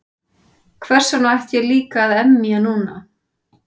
Hversvegna ætti ég líka að emja núna?